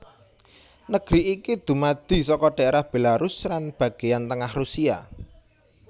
Negeri iki dumadi saka dhaerah Belarus lan bagéyan tengah Rusia